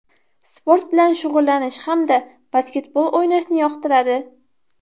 Sport bilan shug‘ullanish hamda basketbol o‘ynashni yoqtiradi.